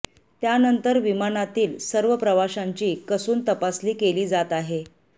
त्यानंतर विमानातील सर्व प्रवाशांची कसून तपासणी केली जात आहे